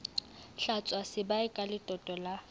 hlwatswa sebae ka letoto la